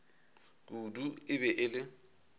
kudu e be e le